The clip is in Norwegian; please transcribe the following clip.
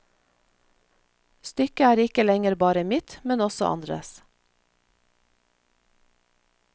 Stykket er ikke lenger bare mitt, men også andres.